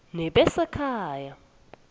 nebasekhaya